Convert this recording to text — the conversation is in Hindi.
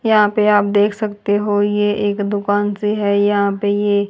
यहां पे आप देख सकते हो ये एक दुकान सी है यहां पे ये --